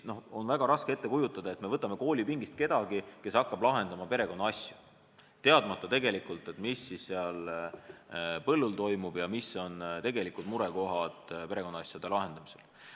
On väga raske ette kujutada, et me võtame koolipingist kellegi, kes hakkab lahendama perekonnaasju, teadmata tegelikult, mis seal põllul toimub ja mis on murekohad perekonnaasjade lahendamisel.